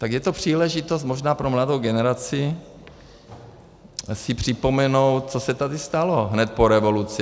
Tak je to příležitost možná pro mladou generaci si připomenout, co se tady stalo hned po revoluci.